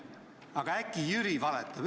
Aga äkki Jüri valetab?